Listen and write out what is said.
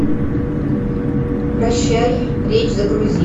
прощай речь загрузи